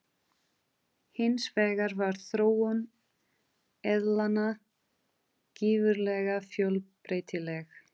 Hins vegar var þróun eðlanna gífurlega fjölbreytileg.